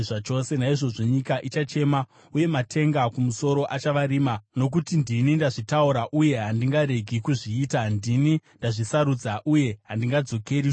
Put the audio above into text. Naizvozvo nyika ichachema uye matenga kumusoro achava rima nokuti ndini ndazvitaura uye handingaregi kuzviita, ndini ndazvisarudza uye handingadzokeri shure.”